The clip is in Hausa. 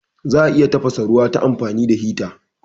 Za'a iya tafasa ruwa ta amfani da hita